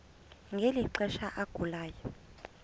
ngeli xesha agulayo